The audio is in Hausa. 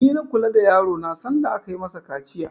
Ni na kula da yaro na sanda aka yi mashi kaciya